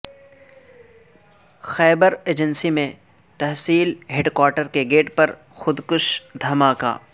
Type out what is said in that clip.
خیبر agency میں تحصیل headquarter کے گیٹ پر خودکش دھماکہ